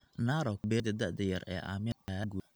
Narok, beeralayda da'da yar ee Aamina ayaa aad ugu guulaysata.